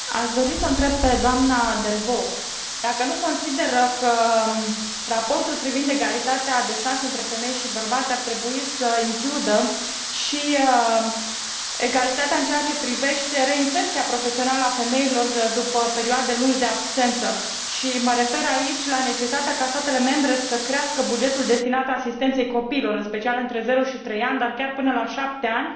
Doamnă președinte, aș dori să o întreb pe dna Delvaux dacă nu consideră că raportul privind egalitatea de șanse între femei și bărbați ar trebui să includă și egalitatea în ceea ce privește reinserția profesională a femeilor după perioade lungi de absență și mă refer aici la necesitatea ca statele membre să crească bugetul destinat asistenței copiilor, în special între 0 și 3 ani, dar chiar până la 7 ani,